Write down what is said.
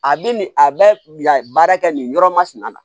A bɛ nin a bɛ yan baara kɛ nin yɔrɔ masina na